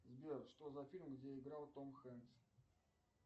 сбер что за фильмы где играл том хэнкс